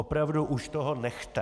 Opravdu už toho nechte!